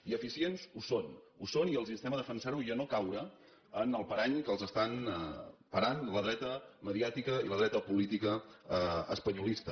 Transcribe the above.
i eficients ho són ho són i els instem a defensar ho i a no caure en el parany que els estan parant la dreta mediàtica i la dreta política espanyolista